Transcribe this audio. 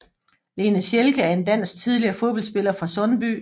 Lena Schelke er en dansk tidligere fodboldspiller fra Sundby